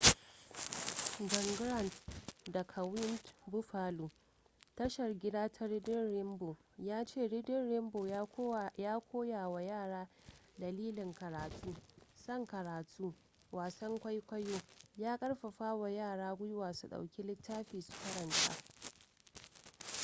john grant daga wned buffalo tashar gida ta reading rainbow ya ce reading rainbow ya koya wa yara dalilin karatu ...son karatu - [wasan kwaikwayo] ya karfafa wa yara gwiwa su dauki littafi su karanta.